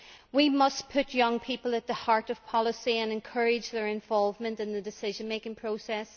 We must put young people at the heart of policy and encourage their involvement in the decision making process.